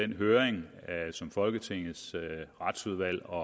den høring som folketingets retsudvalg og